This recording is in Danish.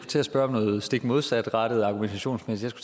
til at spørge om noget stik modsatrettet argumentationsmæssigt